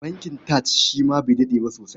Bankin TAJ shi ma bai daɗe ba sosai.